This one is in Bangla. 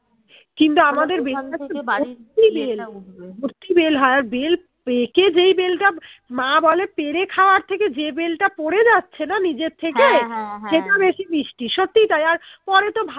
কিন্তু আমাদের ভর্তি বেল হয় আর বেল পেকে যেই বেলটা মা বলে পেরে খাওয়ার থেকে যে বেলটা পরে যাচ্ছে না নিজের থেকে সেটা বেশি মিষ্টি সত্যিই তাই আর পরে তো